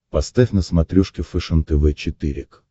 поставь на смотрешке фэшен тв четыре к